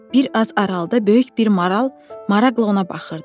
Bir az aralıda böyük bir maral maraqla ona baxırdı.